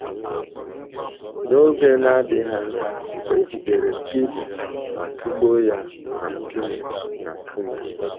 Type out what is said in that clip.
N’oge na - adịghị anya, e jidere Stivin ma tụgbuo ya na nkume na nkume.